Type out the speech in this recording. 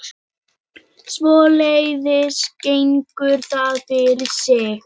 Jarðskjálftahrina milli jökla